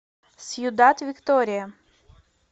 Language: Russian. сьюдад виктория